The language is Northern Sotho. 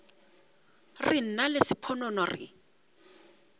re nna le sponono re